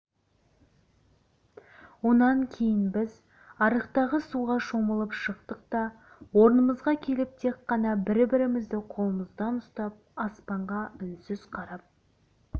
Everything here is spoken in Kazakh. онан кейін біз арықтағы суға шомылып шықтық та орнымызға келіп тек қана бір-бірімізді қолымыздан ұстап аспанға үнсіз қарап